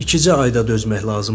İkicə ayda dözmək lazım idi.